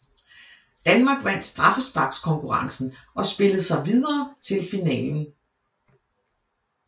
Danmark vandt straffesparkskonkurrencen og spillede sig videre til finalen